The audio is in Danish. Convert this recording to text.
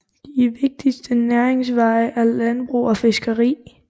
De vigtigste næringsveje er landbrug og fiskeri